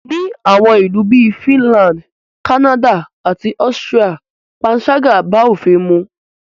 Ni àwọn ìlú bí i Finland, Canada àti Austria panṣágà bá òfin mu.